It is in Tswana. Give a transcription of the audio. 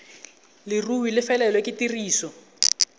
leruri e felelwe ke tiriso